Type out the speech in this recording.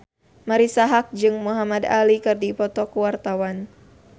Marisa Haque jeung Muhamad Ali keur dipoto ku wartawan